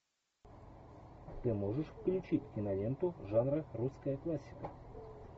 ты можешь включить киноленту жанра русская классика